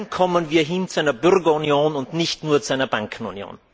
Dann kommen wir hin zu einer Bürgerunion und nicht nur zu einer Bankenunion.